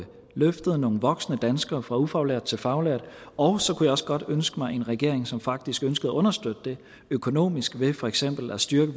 løftet nogle voksne danskere fra ufaglærte til faglærte og så kunne jeg også godt ønske mig en regering som faktisk ønskede at understøtte det økonomisk ved for eksempel at styrke